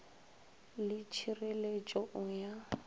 le t hirelet o ya